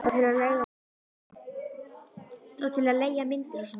Og til að leigja myndir og svona.